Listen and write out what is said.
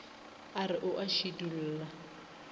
a re o a šidulla